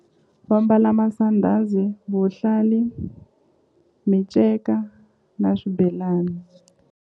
Va mbala masandhazi vuhlali minceka na swibelani.